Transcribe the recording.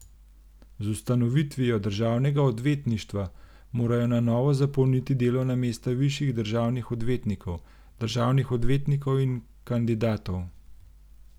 Z ustanovitvijo državnega odvetništva morajo na novo zapolniti delovna mesta višjih državnih odvetnikov, državnih odvetnikov in kandidatov.